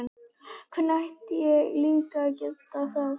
Hvernig ætti ég líka að geta það?